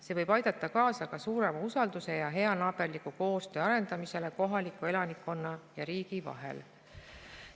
See võib aidata kaasa ka suurema usalduse ja heanaaberliku koostöö arendamisele kohaliku elanikkonna ja riigi vahel.